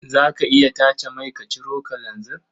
Za ka iya tace mai ka ciro kalanzir?